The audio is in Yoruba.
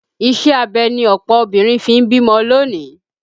Ìṣe abẹ ni ọ̀pọ̀ obìnrin fi ń bímọ lónìí